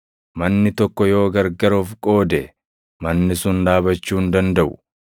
Manni tokko yoo gargar of qoode, manni sun dhaabachuu hin dandaʼu.